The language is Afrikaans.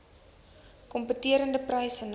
kompeterende pryse nou